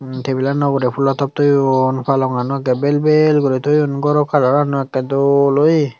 tabule ogoray polo top toyoun palogan bel bel toyun goro kalarena akora dol oya.